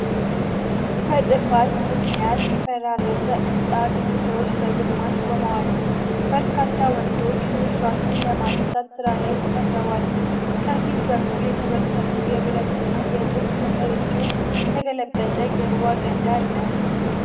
በጥፋት ምክንያት የፈራረሰ ሕንፃ ግድግዳዎች በግማሽ ቆመዋል። በርካታ ወንዶች ፍርስራሹን በማንሳት ሥራ ላይ ተጠምደዋል። ከፊት በኩል የተበተኑ የብረትና የጡብ ክምር እንዲሁም የተገለበጠ የውሃ ገንዳ አለ።